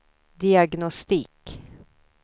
diagnostik